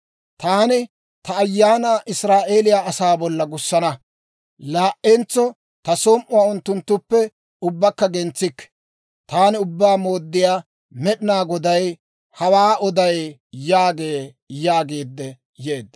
Taani ta Ayaanaa Israa'eeliyaa asaa bolla gussana; laa"entso ta som"uwaa unttunttuppe ubbakka gentsikke. Taani Ubbaa Mooddiyaa Med'inaa Goday hawaa oday› yaagee» yaagiidde yeedda.